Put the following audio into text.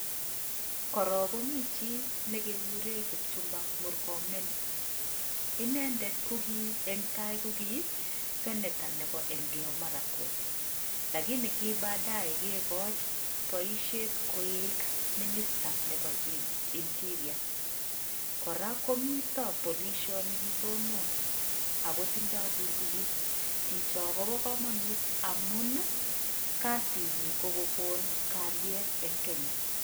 Korok komi chii nekekure Kipchumba Murkomen, inendet ko ki eng tai ko ki senetor nebo Elkeiyo Marakwet, lakini ki badae kekoch boisiet koek minister nebo interior kora komito polisiot ni kitononon ako tindoi bundukit ,chicho kobo kamanut amun kasinyi ko kokon kalyet eng kenya.